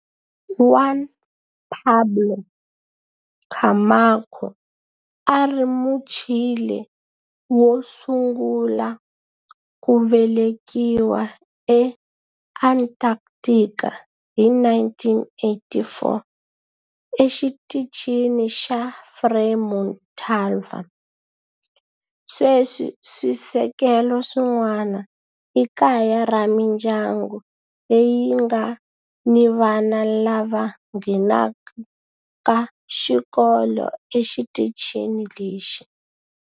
Juan Pablo Camacho a a ri Muchile wo sungula ku velekiwa eAntarctica hi 1984 eXitichini xa Frei Montalva. Sweswi swisekelo swin'wana i kaya ra mindyangu leyi nga ni vana lava nghenaka xikolo exitichini lexi.